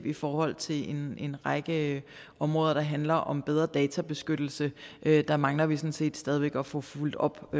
i forhold til en række områder der handler om bedre databeskyttelse der mangler vi sådan set stadig væk at få fulgt op